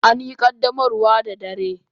An yi qaddamarwar da dare.